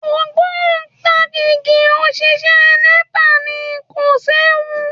Ògbóǹtarìgì òṣìṣẹ́ Nepa ni, kò séwu